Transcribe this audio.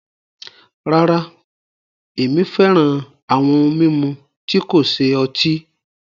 Rárá, ẹmi fẹ́ràn awọn ohun mimú tí kò ṣẹ ọ̀tí